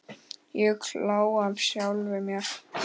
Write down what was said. Ég hló að sjálfum mér.